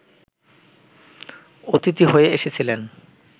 অতিথি হয়ে এসেছিলেন